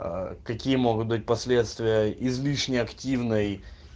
какие могут быть последствия излишне активной